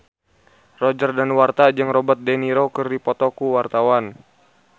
Roger Danuarta jeung Robert de Niro keur dipoto ku wartawan